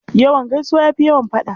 Yawan gaisuwa ya fi yawan faɗa.